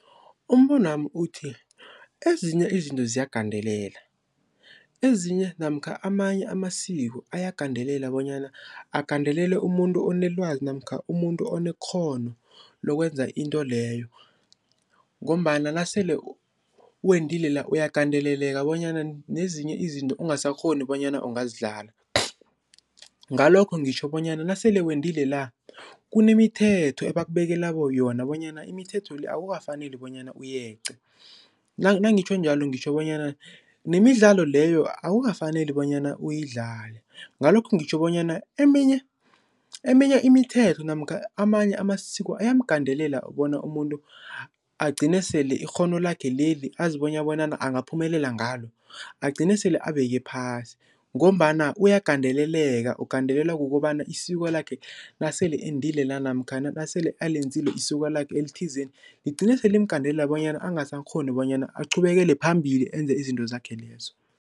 Umbonwami uthi, ezinye izinto ziyagandelela, ezinye namkha amanye amasiko ayagandelela bonyana agandelele umuntu onelwazi namkha umuntu onekghono lokwenza into leyo ngombana nasele wendile la uyagandeleleka bonyana nezinye izinto ungasakghoni bonyana ungazidlala. Ngalokho ngitjho bonyana nasele wendile la kunemithetho ebakubekela yona bonyana imithetho le akukafaneli bonyana uyeqe, nangitjho njalo ngitjho bonyana nemidlalo leyo akukafaneli bonyana uyidlale. Ngalokho ngitjho bonyana eminye eminye imithetho namkha amanye amasiko ayamgandelela bona umuntu agcine sele ikghono lakhe leli azibona bonyana angaphumelela ngalo agcine sele abeke phasi ngombana uyagandeleleka ugandelelwa kukobana isiko lakhe nasele endile lana namkha nasele alenzile isiko lakhe elithizeni ligcine sele limgandelela bonyana angasakghoni bonyana aqhubekele phambili enze izinto zakhe lezo.